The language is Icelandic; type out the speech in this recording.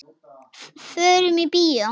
Förum í bíó.